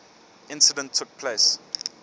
incident took place